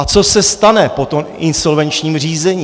A co se stane po tom insolvenčním řízení.